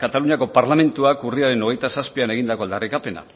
kataluniako parlamentuak urriaren hogeita zazpian egindako aldarrikapena